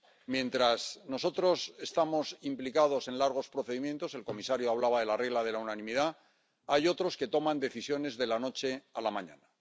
Mientras nosotros estamos implicados en largos procedimientos —el comisario hablaba de la regla de la unanimidad—, hay otros que toman decisiones de la noche a la mañana.